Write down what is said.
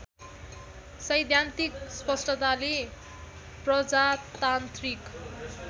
सैद्धान्तिक स्पष्टताले प्रजातान्त्रिक